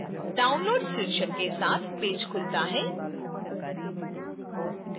downloads शीर्षक के साथ पेज खुलता है